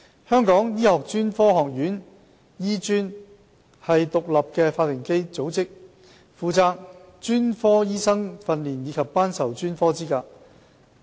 香港醫學專科學院是獨立法定組織，負責專科醫生訓練及頒授專科資格。